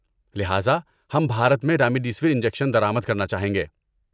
لہذا، ہم بھارت میں رامدیسیور انجیکشن درآمد کرنا چاہیں گے